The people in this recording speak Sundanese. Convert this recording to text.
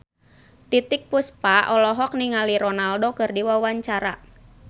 Titiek Puspa olohok ningali Ronaldo keur diwawancara